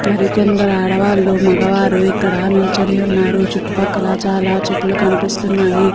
మరి కొందరు ఆడవాళ్ళు మగవారు ఇక్కడా నిల్చుని ఉన్నారు. చుట్టూ పక్కల చాలా చెట్లు కనిపిస్తున్నాయి.